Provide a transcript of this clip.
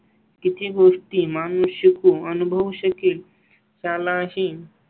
किती गोष्टी माणूस शिकू अनुभवू शकेल त्या लाही.